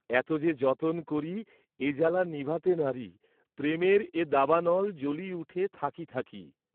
এত যে যতন করি এ জ্বালা নিভাতে নারি, প্রেমের এ দাবানল জ্বলি উঠে থাকি থাকি।